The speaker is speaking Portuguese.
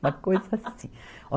Uma coisa assim.